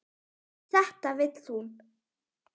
Þetta vill hún.